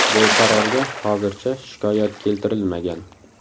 Bu qarorga hozircha shikoyat keltirilmagan.